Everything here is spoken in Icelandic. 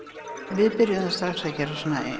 við byrjuðum strax að gera